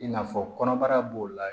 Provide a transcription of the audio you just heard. I n'a fɔ kɔnɔbara b'o la